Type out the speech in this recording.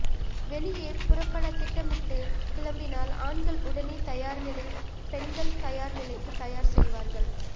வெளியே புறப்பட திட்டமிட்டு கிளம்பினால் ஆண்கள் உடனே தயார் நிலை பெண்கள் தயார் நிலைக்கு தயார் செய்வார்கள்